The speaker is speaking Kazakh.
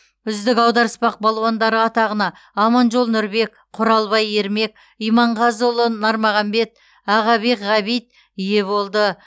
үздік аударыспақ балуандары атағына аманжол нұрбек құралбай ермек иманғазыұлы нармағанбет ағабек ғабит ие болды